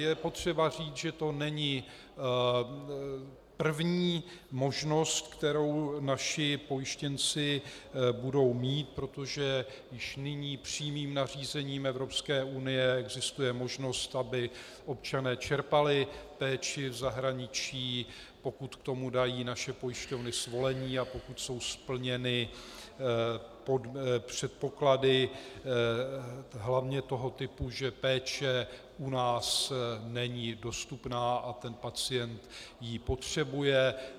Je potřeba říct, že to není první možnost, kterou naši pojištěnci budou mít, protože už nyní přímým nařízením Evropské unie existuje možnost, aby občané čerpali péči v zahraničí, pokud k tomu dají naše pojišťovny svolení a pokud jsou splněny předpoklady hlavně toho typu, že péče u nás není dostupná a ten pacient ji potřebuje.